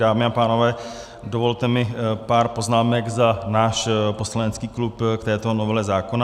Dámy a pánové, dovolte mi pár poznámek za náš poslanecký klub k této novele zákona.